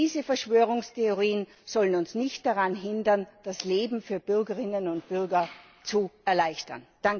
Diese Verschwörungstheorien sollen uns nicht daran hindern, das Leben für Bürgerinnen und Bürger zu erleichtern!